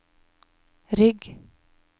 rygg